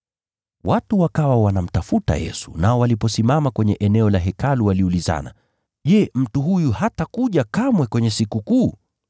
Watu wakawa wanamtafuta Yesu, nao waliposimama kwenye eneo la Hekalu waliulizana, Je, mtu huyu hatakuja kamwe kwenye Sikukuu?